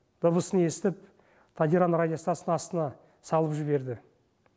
дыбысын естіп тадиран радиостанциясының астына салып жіберді